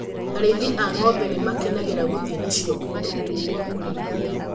Arĩithi a ng'ombe nĩ makenagĩra gũthiĩ nacio kũndũ gwa kũrĩithia.